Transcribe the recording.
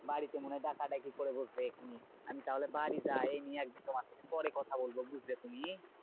বাড়িতে মনে হয় ডাকাডাকি করে বসবে এখুনি। আমি তাহলে বাড়ি যাই। এই নিয়ে একদিন তোমার সাথে পরে কথা বলবো বুঝলে তুমি?